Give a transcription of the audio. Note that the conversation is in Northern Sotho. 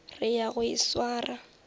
re ya go e swara